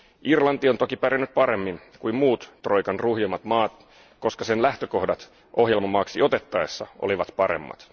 Irlanti on toki pärjännyt paremmin kuin muut troikan ruhjimat maat, koska sen lähtökohdat ohjelmamaaksi otettaessa olivat paremmat.